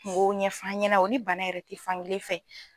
Kungo ɲɛfo an ɲɛna o ni bana yɛrɛ te fankelen fɛ